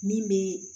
Min bɛ